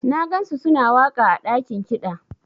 Na gansu suna waka ã dakin kida.